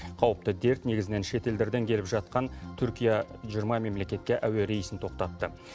қауіпті дерт негізінен шетелдерден келіп жатқан түркия жиырма мемлекетке әуе рейсін тоқтатты